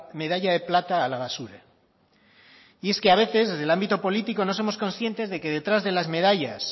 medalla de plata a la basura y es que a veces desde el ámbito político no somos conscientes de que detrás de las medallas